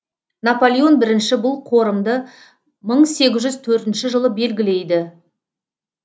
наполеон бірінші бұл қорымды мың сегіз жүз төртінші жылы белгілейді